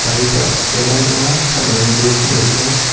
বাড়িটা ঘেরাও দেওয়া সাইডে অনেকগুলো সুপারি গাছ।